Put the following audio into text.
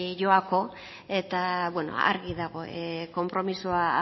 joako eta argi dago konpromisoa